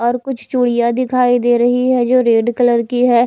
और कुछ चूड़ियां दिखाई दे रही है जो रेड कलर की है।